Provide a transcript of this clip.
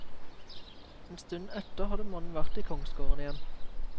En stund etter hadde mannen vært i kongsgården igjen.